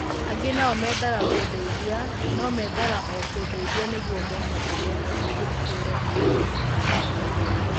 Angĩ nao meendaga kũndeithia, no meendaga o kũndeithia nĩguo mone ũrĩa ingĩhiũrania na mathĩna makwa.'